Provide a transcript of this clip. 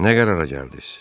Nə qərara gəldiz?